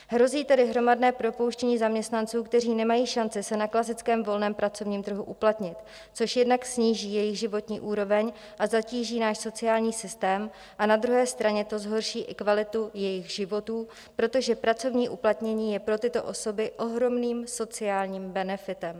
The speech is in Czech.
Hrozí tedy hromadné propouštění zaměstnanců, kteří nemají šanci se na klasickém volném pracovním trhu uplatnit, což jednak sníží jejich životní úroveň a zatíží náš sociální systém a na druhé straně to zhorší i kvalitu jejich životů, protože pracovní uplatnění je pro tyto osoby ohromným sociálním benefitem.